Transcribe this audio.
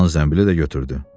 Oğlan zəmbili də götürdü.